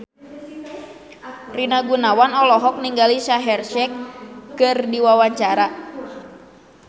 Rina Gunawan olohok ningali Shaheer Sheikh keur diwawancara